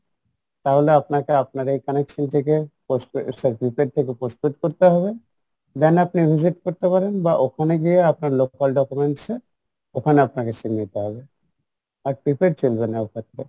তাহলে আপনাকে আপনার ওইখানের through থেকে postpaid sorry prepaid থেকে postpaid করতে হবে বা ওখানে গিয়ে আপনার documents এ ওখানে আপনাকে sim নিতে হবে আর prepaid চলবে না ওখানে